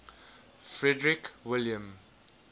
frederick william